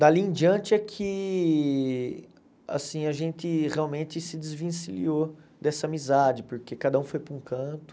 Dali em diante é que assim a gente realmente se desvencilhou dessa amizade, porque cada um foi para um canto.